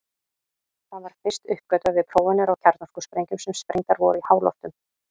Það var fyrst uppgötvað við prófanir á kjarnorkusprengjum sem sprengdar voru í háloftum.